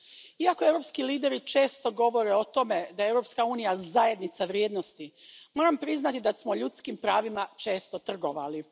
Iako europski lideri često govore o tome da je Europska unija zajednica vrijednosti, moram priznati da smo ljudskim pravima često trgovali.